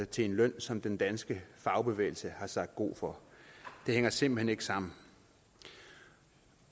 til en løn som den danske fagbevægelse har sagt god for det hænger simpelt hen ikke sammen